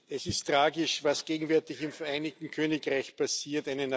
Es ist tragisch, was gegenwärtig im Vereinigten Königreich passiert.